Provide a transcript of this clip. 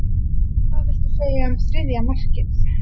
Hvað viltu segja um þriðja markið?